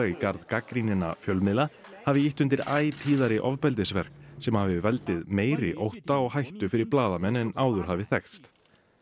í garð gagnrýninna fjölmiðla hafi ýtt undir æ tíðari ofbeldisverk sem hafi valdið meiri ótta og hættu fyrir blaðamenn en áður hafi þekkst